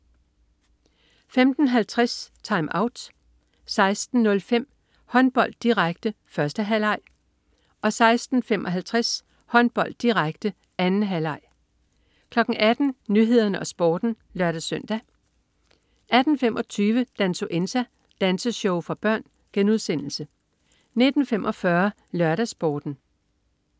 15.50 TimeOut 16.05 Håndbold, direkte. 1. halvleg 16.55 Håndbold, direkte. 2. halvleg 18.00 Nyhederne og Sporten (lør-søn) 18.25 Dansuenza. Danseshow for børn* 19.45 LørdagsSporten